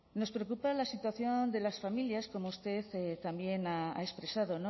nos preocupa la situación de las familias como usted también ha expresado